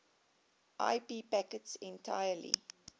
ip packets entirely